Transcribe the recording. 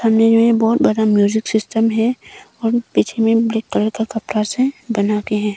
सामने में बहुत बड़ा म्यूजिक सिस्टम है और पीछे में ब्लैक कलर का कपड़ा से बना के हैं।